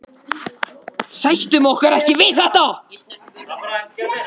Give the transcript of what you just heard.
Sættum okkur ekki við þetta